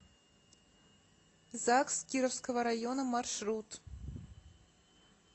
загс кировского района маршрут